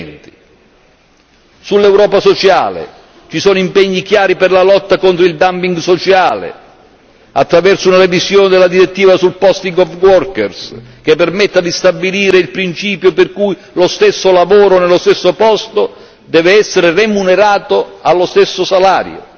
il 2020. Sull'Europa sociale ci sono impegni chiari per la lotta contro il dumping sociale, attraverso una revisione della direttiva sul posting of workers che permetta di stabilire il principio per cui lo stesso lavoro nello stesso posto deve essere remunerato allo stesso salario.